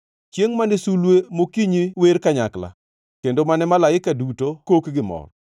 Chiengʼ mane sulwe mokinyi wer kanyakla kendo mane malaike duto kok gimor?